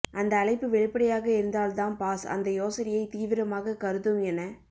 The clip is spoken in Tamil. அந்த அழைப்பு வெளிப்படையாக இருந்தால் தாம் பாஸ் அந்த யோசனையைத் தீவிரமாக கருதும் என